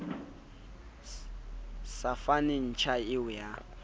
sa fase ntja eo ya